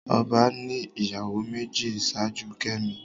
Ọba ní ìyàwó méjì ṣáájú kemi